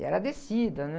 E era descida, né?